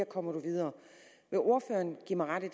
komme videre vil ordføreren give mig ret i